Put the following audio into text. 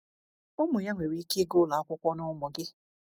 Ụmụ ya nwere ike ịga ụlọ akwụkwọ na ụmụ gị.